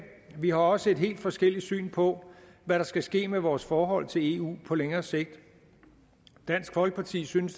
vi har også et helt forskelligt syn på hvad der skal ske med vores forhold til eu på længere sigt dansk folkeparti synes